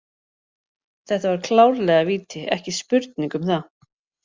Þetta var klárlega víti, ekki spurning um það.